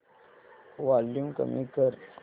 volume कमी कर